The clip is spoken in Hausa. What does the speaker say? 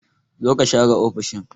Zo ka share ofishin!